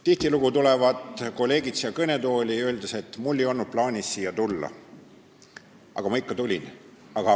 Tihtilugu tulevad kolleegid siia kõnetooli, öeldes, et mul ei olnud plaanis siia tulla, aga ma ikka tulin.